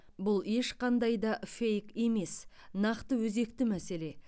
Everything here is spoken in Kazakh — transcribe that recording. бұл ешқандай да фейк емес нақты өзекті мәселе